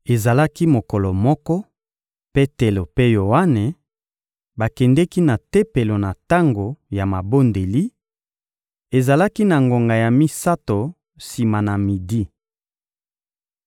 Ezalaki mokolo moko, Petelo mpe Yoane bakendeki na Tempelo na tango ya mabondeli: ezalaki na ngonga ya misato sima na midi.